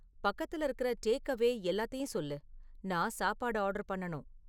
பக்கத்துல இருக்குகிற டேக்அவே எல்லாத்தையும் சொல்லு நான் சாப்பாடு ஆர்டர் பண்ணணும்